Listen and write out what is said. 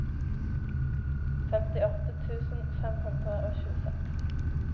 femtiåtte tusen fem hundre og tjueseks